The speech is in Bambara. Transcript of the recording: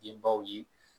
Denbaw ye